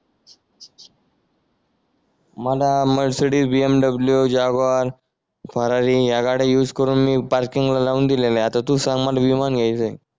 मला Mercedes VMW Jaguar Ferrari या गाड्या यूज करून मी पार्किंग ला लावून दिलेल्या हाय आता तू सांग मला विमान घ्यायचंय